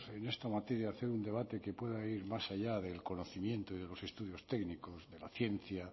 en esta materia hacer un debate que pueda ir más allá del conocimiento y de los estudios técnicos la ciencia